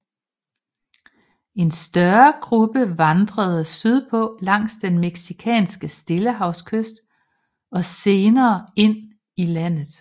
En større gruppe vandrede sydpå langs den mexikanske stillehavskyst og senere ind i landet